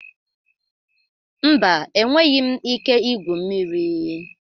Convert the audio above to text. Mba, enweghị m ike igwu mmiri.